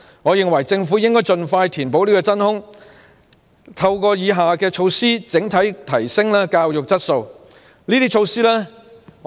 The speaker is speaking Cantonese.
我認為政府應盡快填補真空，並透過以下措施整體提升教育質素。